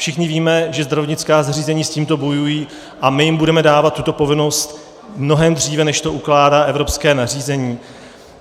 Všichni víme, že zdravotnická zařízení s tímto bojují, a my jim budeme dávat tuto povinnost mnohem dříve, než to ukládá evropské nařízení.